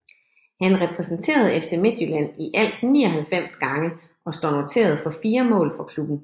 Han repræsenterede FC Midtjylland i alt 99 gange og står noteret for 4 mål for klubben